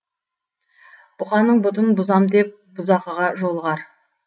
бұқаның бұтын бұзам деп бұзақыға жолығар